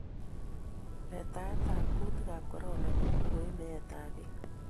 letaet'ab kutikab korona kokoib meetab piik